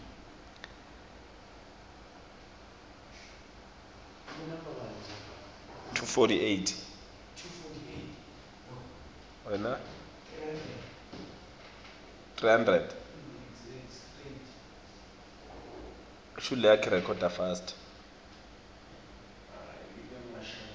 ibe itsintsa imiva